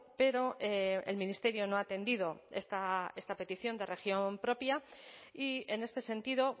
pero el ministerio no ha atendido esta petición de región propia y en este sentido